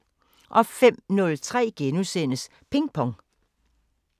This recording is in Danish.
05:03: Ping Pong *